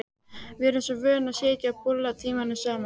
Við sem erum vön að sitja og bulla tímunum saman.